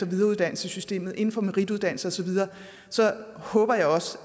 videreuddannelsessystemet inden for merituddannelse og så videre håber jeg